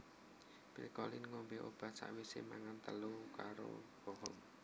Phi Collins ngombe obat sakwise mangan telo karo pohong